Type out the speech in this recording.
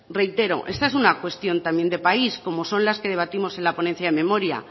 reitero esta es una cuestión también de país como son las que debatimos en la ponencia de memoria